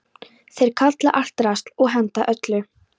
Þeir kalla allt drasl og henda öllu.